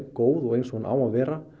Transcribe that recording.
góð og eins og hún á að vera